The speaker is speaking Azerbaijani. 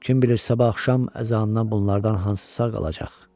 Kim bilir sabah axşam əzanından bunlardan hansısa qalacaq?